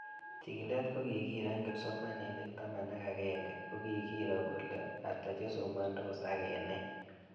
Chikilet ko kikiro eng' kipsomanik taman ak ag'eng'e ko kikiro kole ata chesomandos ak eng' nee